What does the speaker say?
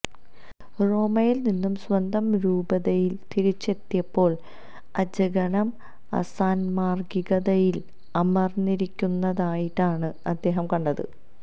റോമയിൽ നിന്നും സ്വന്തം രൂപതയിൽ തിരിച്ചെത്തിയപ്പോൾ അജഗണം അസാന്മാർഗ്ഗികതയിൽ അമർന്നിരിക്കുന്നതായിട്ടാണ് അദ്ദേഹം കണ്ടത്